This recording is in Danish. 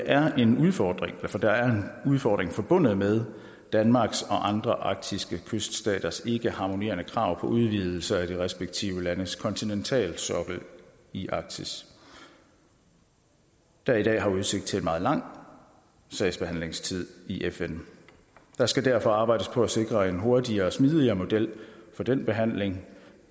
er en udfordring udfordring forbundet med danmarks og andre arktiske kyststaters ikkeharmonerende krav på udvidelser af de respektive landes kontinentalsokkel i arktis der i dag har udsigt til en meget lang sagsbehandlingstid i fn der skal derfor arbejdes på at sikre en hurtigere og smidigere model for den behandling